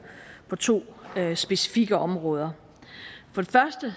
på to specifikke områder den første